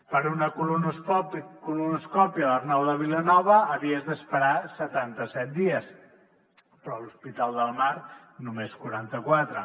per a una colonoscòpia a l’arnau de vilanova havies d’esperar setanta set dies però a l’hospital del mar només quaranta quatre